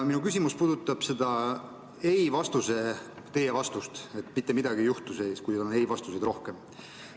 Minu küsimus puudutab seda teie vastust, et mitte midagi ei juhtu, kui ei-vastuseid on rohkem.